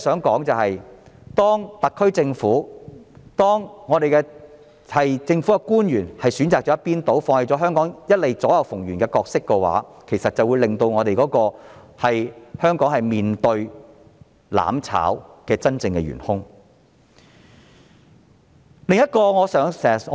當特區政府及政府官員選擇向一邊傾倒，放棄香港一直以來左右逢源的角色，他們便是令香港面對"攬炒"的真正元兇。